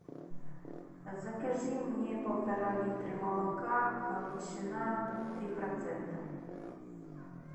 закажи мне полтора литра молока галичина три процента